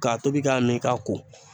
K'a tobi k'a min k'a ko